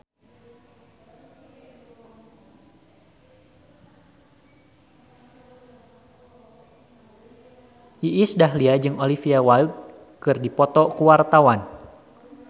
Iis Dahlia jeung Olivia Wilde keur dipoto ku wartawan